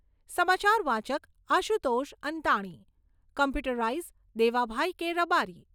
સમાચાર વાચક Ashutosh Antani. Computerise Devabhai K Rabari